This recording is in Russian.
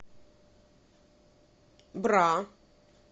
бра